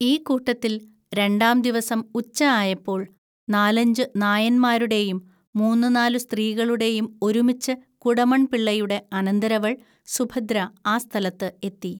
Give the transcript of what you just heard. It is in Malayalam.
ഈ കൂട്ടത്തിൽ രണ്ടാം ദിവസം ഉച്ച ആയപ്പോൽ നാലഞ്ച് നായന്മാരുടേയും മൂന്നുനാലു സ്ത്രീകളുടേയും ഒരുമിച്ച് കുടമൺപിള്ളയുടെ അനന്തരവൾ സുഭദ്ര ആ സ്ഥലത്ത് എത്തി.